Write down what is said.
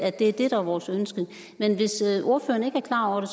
at det er det der er vores ønske men hvis ordføreren ikke er klar over det